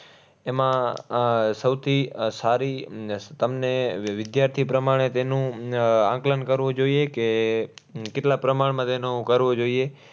એમાં આહ સૌથી આહ સારી તમને વિદ્યાર્થી પ્રમાણે તેનું આહ આંકલન કરવું જોઈએ કે કેટલા પ્રમાણમાં તેનું કરવું જોઈએ?